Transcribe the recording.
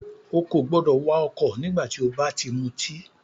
Ó kò gbọdọ̀ wà ọ̀kọ̀ nígbà tí o bá ti mutí!